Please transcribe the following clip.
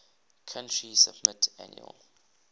country submit annual